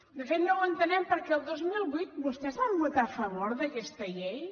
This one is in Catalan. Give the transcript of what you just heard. de fet no entenem per què el dos mil vuit vostès van votar a favor d’aquesta llei